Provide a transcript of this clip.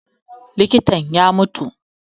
Likitan ya mutu